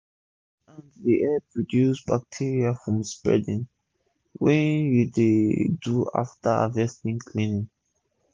cleans hands dey help reduce bacteria from spreading wen u dey do after harvest cleaning